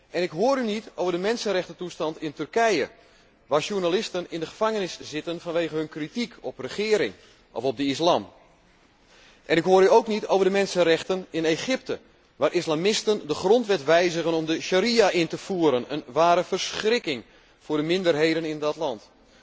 En ik hoor u niet over de mensenrechtentoestand in Turkije, waar journalisten in de gevangenis zitten vanwege hun kritiek op de regering of op de islam. En ik hoor u ook niet over de mensenrechten in Egypte, waar islamisten de grondwet wijzigen om de sharia in te voeren, een ware verschrikking voor de minderheden in dat land.